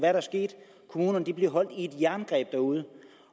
er der sket kommunerne bliver holdt i et jerngreb derude